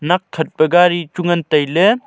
nak khat peh gari chu ngan tailey.